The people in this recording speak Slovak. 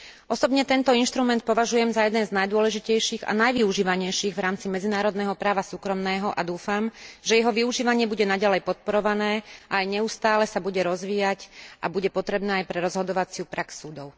Osobne tento inštrument považujem za jeden z najdôležitejších a najvyužívanejších v rámci medzinárodného práva súkromného a dúfam, že jeho využívanie bude naďalej podporované a aj neustále sa bude rozvíjať a bude potrebné aj pre rozhodovaciu prax súdov.